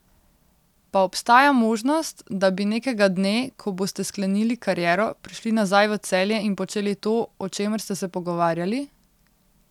Pa obstaja možnost, da bi nekega dne, ko boste sklenili kariero, prišli nazaj v Celje in počeli to, o čemer ste se pogovarjali?